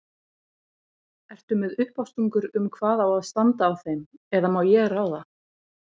Ertu með uppástungur um hvað á að standa á þeim eða má ég ráða?